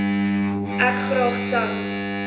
ek graag sans